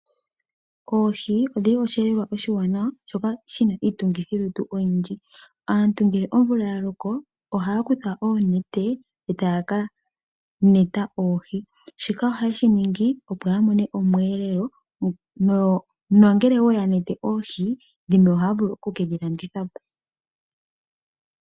Oohi odhili oshi elelwa oshiwanawa shoka shina iitungithi lutu oyindji. Aantu ngele omvula ya loko ohaya kutha oonete etaya ka neta oohi shika ohaye shi ningi opo ya mone omwelelo nongele ya nete oohi dhimwe ohaya vulu oku kedhi landithapo.